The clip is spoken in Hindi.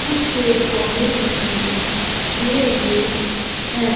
कुछ पेड़ पौधे दिखाई दे रहे हैं।